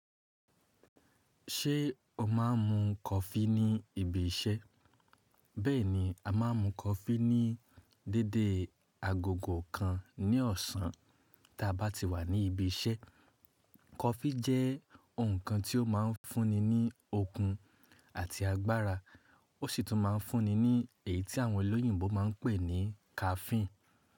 Ṣé o máa ń mu kọfí ní ibi iṣẹ́? Bẹ́ẹ̀ni, a má ń mu kọfí ní déedé agogo kan ní ọ̀sán tí a bá ti wà ní ibi iṣẹ́. Kọfí jẹ́ nkan tí ó ma ń fún ni ní okun àti agbára, ó sì tún má ń fún ni ní èyí tí àwọn olóyìnbo má ń pè ní caffeine.